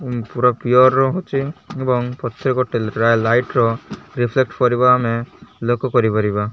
ଉଁ ପୂରା ପିଅର୍ ର ହଉଛି ଏବଂ ପଛେ ପୂରା ଲାଇଟ୍ ର ରିଫ୍ଲେକ୍ଟ କରିବା ଆମେ ଲୋକ କରିପାରିବା।